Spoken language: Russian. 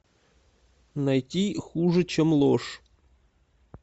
найти хуже чем ложь